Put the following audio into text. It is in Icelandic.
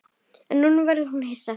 En nú verður þú hissa!